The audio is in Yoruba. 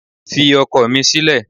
Fi ọkọ̀ mi sílẹ̀